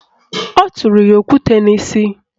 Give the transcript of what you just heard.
O tụrụ ya okwute n'isi